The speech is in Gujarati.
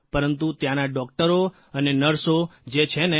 પરંતુ ત્યાંના ડૉકટરો અને નર્સો જે છે ને